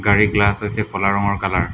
গাড়ীৰ গ্লাছ হৈছে ক'লা ৰঙৰ কালাৰ ।